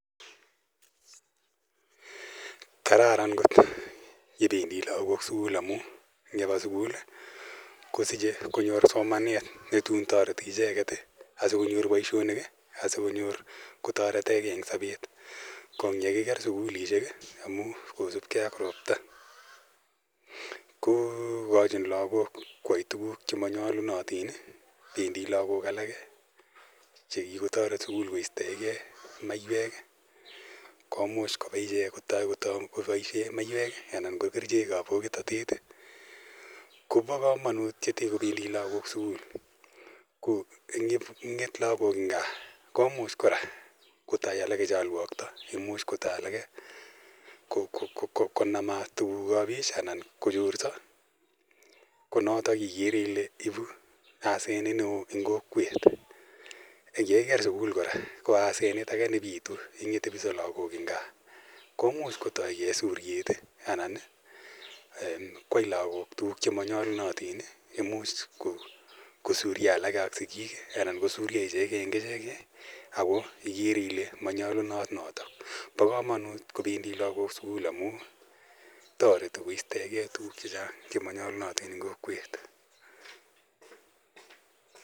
Kararan kot yebendi lagok sukul amun ngoba sukul kosiche konyor somanet netun toreti icheket konyor boisionik asikotoretegei en sobet. Kokiker sukulisiek kosupkei ak ropta kokochin lagok koyai tuguk chemoiyonotin bendi lagok alak chekikotoret sukul koistoenge maiywek komuch kobaa ichek kotoi koboisien maiywek anan ko kerichek ab bokitotet. Bo kamanut koba lagok sukul amun ngong'et en gaa kotou alak cholwokto akochorso alak konoto ikere ile ibu asenet neo en kokwet, komuch kora kotoi suryet kosuryo alak ak sikik anan ko en icheket en icheket ko ikere ile bo kamanut noton .Bo kamanut kobendi lagok sukul amun toreti koistoege tuguk chemonyolunotin en kokwet.